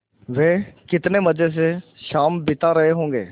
वे कितने मज़े से शाम बिता रहे होंगे